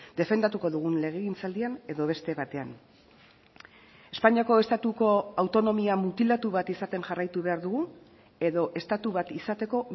defendatuko dugun legegintzaldian edo beste batean espainiako estatuko autonomia mutilatu bat izaten jarraitu behar dugu edo estatu bat izateko